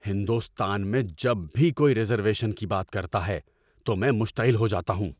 ہندوستان میں جب بھی کوئی ریزرویشن کی بات کرتا ہے تو میں مشتعل ہو جاتا ہوں۔